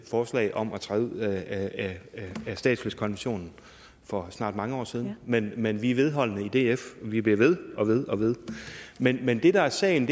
forslag om at træde ud af statsløsekonventionen for snart mange år siden men men vi er vedholdende i df vi bliver ved og ved og ved men men det der er sagen